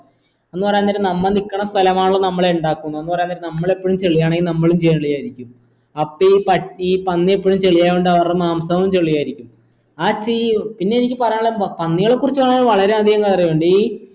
എന്ന് പറയാ നേരം നമ്മ നിക്കണ സ്ഥലമാണല്ലോ നമ്മളെ ഇണ്ടാക്കുന്നേ എന്ന് പറയാൻ നേരം നമ്മളെപ്പോഴും ചെളിയാണേൽ നമ്മളും ചെളിയായിരിക്കും അപ്പൊ ഈ പട്ടി പന്നി എപ്പോഴും ചെളി ആയോണ്ട് അവരുടെ മാംസവും ചെളി ആയിരിക്കും ആ ചി പിന്നെ എനിക്ക് പറയാനുള്ളന്താ പന്നികളെ കുറിചാണെല് വളരെ അധികം കാര്യുണ്ട് ഈ